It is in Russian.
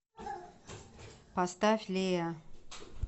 поставь лея